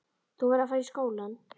Þú verður að fara í skólann.